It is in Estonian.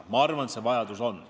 Ja ma arvan, et see vajadus on.